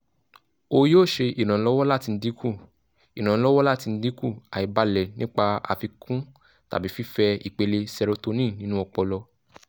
o yoo ṣe iranlọwọ lati dinku iranlọwọ lati dinku aibalẹ nipa afikun tabi fifẹ ipele serotonin ninu ọpọlọ